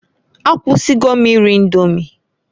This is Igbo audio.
Akwụsigo m iri Indomi.